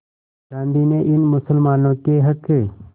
गांधी ने इन मुसलमानों के हक़